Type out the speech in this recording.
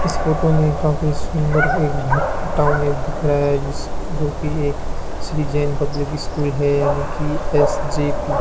इस फोटो में काफी सुंदर एक घर डाउनलोड दिख रहा है जिस जो की एक श्री जैन पब्लिक स्कूल है यानी कि एस_जे_पी --